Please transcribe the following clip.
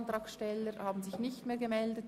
Es haben sich keine Co-Antragsteller gemeldet.